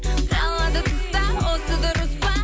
қалады тыста осы дұрыс па